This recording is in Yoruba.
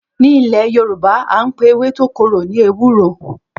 Ní Ilè Yorùbá àńpè ewé tó korò ni ewúro